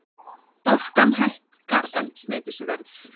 Orkan hækkar eldsneytisverð